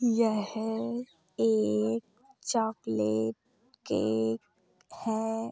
यह एक chocolate cake है।